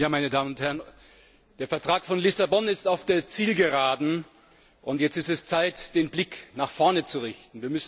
Meine Damen und Herren! Der Vertrag von Lissabon ist auf der Zielgeraden, und jetzt ist es Zeit, den Blick nach vorne zu richten.